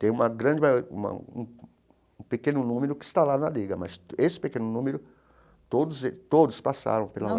Tem uma grande mai (gagueja) um pequeno número que está lá na Liga, mas esse pequeno número, todos eles todos passaram pela.